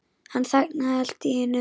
Hann þagnaði allt í einu.